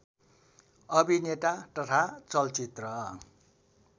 अभिनेता तथा चलचित्र